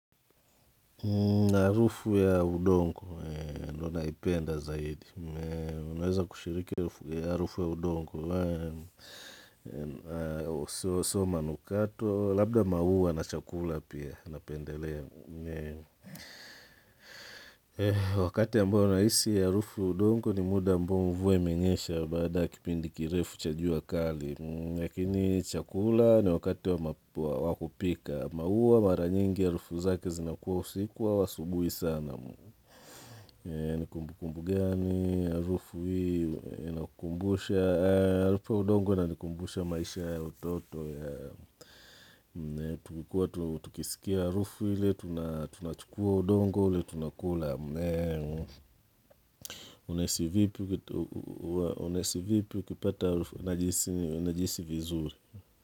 Na harufu ya udongo. Ndo naipenda zaidi. Unaweza kushiriki ya harufu ya udongo. Sio manukato. Labda maua na chakula pia. Napendelea, wakati ambao nahisi harufu ya udongo ni muda ambao mvua imenyesha baada kipindi kirefu cha jua kali. Lakini chakula ni wakati wa wa kupika. Maua mara nyingi harufu zake zinakuwa usiku au asubuhi sana. Ni kumbukumbu gani, harufu hii, inakukumbusha, harufu ya udongo inanikumbusha maisha ya utoto ya, tukikuwa, tukisikia harufu ile tuna tunachukua udongo ule tunakula. Unahisi vipi, unahisi vipi ukipata harufu, najihisi vizuri.